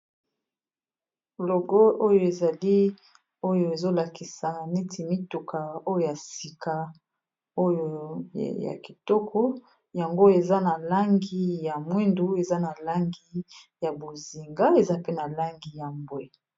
Logo oyo ezali oyo ezolakisa neti mituka oyo ya sika oyo ya kitoko yango eza na langi ya mwindu eza na langi ya bozinga eza pe na langi ya mbwe.